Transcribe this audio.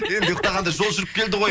енді ұйықтағанда жол жүріп келді ғой